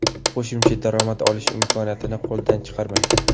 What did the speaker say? Qo‘shimcha daromad olish imkoniyatini qo‘ldan chiqarmang.